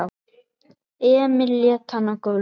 Emil lét hann á gólfið.